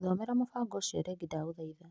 Thomera mũbango ũcio rĩngĩ ndagũthaitha .